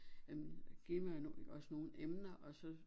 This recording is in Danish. Øh give mig os nogle emner og så